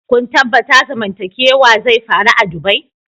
Kun tabatta zamantakewa zai faru a'dubai?